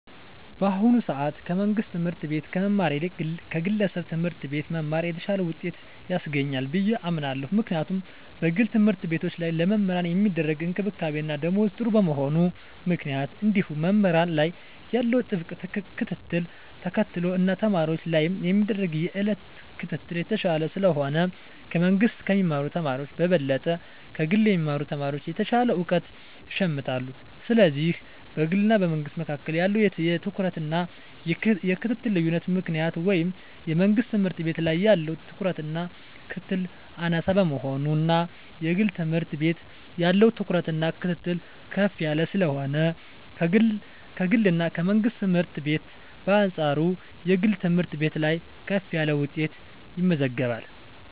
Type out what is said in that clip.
በአሁኑ ሰአት ከመንግስት ትምህርት ቤት ከመማር ይልቅ ከግለሰብ ትምህርት ቤት መማር የተሻለ ውጤት ያስገኛል ብየ አምናለው ምክንያቱም በግል ተምህርትቤቶች ላይ ለመምህራን ሚደረግ እንክብካቤና ደሞዝ ጥሩ በመሆኑ ምክንያት እንዲሁም መምህራን ላይ ያለው ጥብቅ ክትትልን ተከትሎ እና ተማሪወች ላይም የሚደረግ የየእለት ክትትል የተሻለ ስለሆነ ከመንግስ ከሚማሩ ተማሪወች በበለጠ ከግል የሚማሩ ተማሪወች የተሻለ እውቀት ይሸምታሉ ስለዚህ በግልና በመንግስ መካከል ባለው የትኩረትና የክትትል ልዮነት ምክንያት ወይም የመንግስት ትምህርት ቤት ላይ ያለው ትኩረትና ክትትል አናሳ በመሆኑና የግል ትምህርት ቤት ያለው ትኩረትና ክትትል ከፍ ያለ ስለሆነ ከግልና ከመንግስት ትምህርት ቤት በአንጻሩ የግል ትምህርት ቤት ላይ ከፍ ያለ ውጤት ይመዘገባል።